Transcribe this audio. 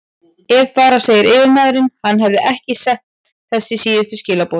Ef bara segir yfirmaðurinn, hann hefði ekki sent þessi síðustu skilaboð.